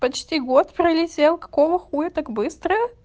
почти год пролетел какого хуя так быстро